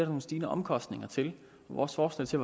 nogle stigende omkostninger til vores forslag til